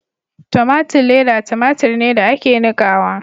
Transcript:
Tomatun leda tomatur ne da ake nikawa.